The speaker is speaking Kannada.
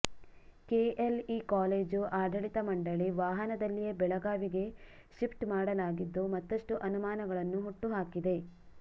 ಕೆ ಎಲ್ ಇ ಕಾಲೇಜು ಆಡಳಿತ ಮಂಡಳಿ ವಾಹನದಲ್ಲಿಯೇ ಬೆಳಗಾವಿಗೆ ಶಿಪ್ಟ್ ಮಾಡಲಾಗಿದ್ದು ಮತ್ತಷ್ಟು ಅನುಮಾನಗಳನ್ನು ಹುಟ್ಟು ಹಾಕಿದೆ